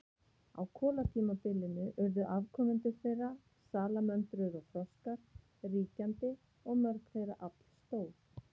Á kolatímabilinu urðu afkomendur þeirra, salamöndrur og froskar, ríkjandi og mörg þeirra allstór.